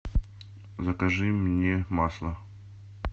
закажи мне масло